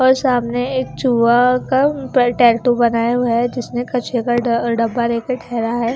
और सामने एक चूहा का पर टैटू बनाया हुआ है जिसने कचरे का ड डब्बा लेकर ठहरा है।